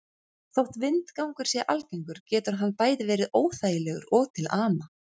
Þótt vindgangur sé algengur getur hann verið bæði óþægilegur og til ama.